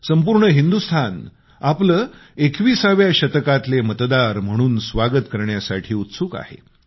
संपूर्ण हिंदुस्तान आपले 21 व्या शतकातले मतदार म्हणून स्वागत करण्यासाठी उत्सुक आहे